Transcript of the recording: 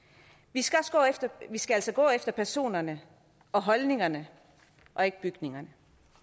vi skal skal altså gå efter personerne og holdningerne og ikke bygningerne